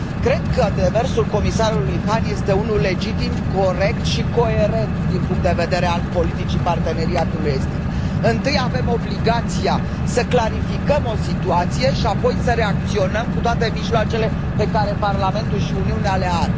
Cred că demersul comisarului Hahn este unul legitim, corect și coerent din punctul de vedere al politicii Parteneriatului estic. Întâi avem obligația să clarificăm o situație și apoi să reacționăm cu toate mijloacele pe care Parlamentul și Uniunea le au.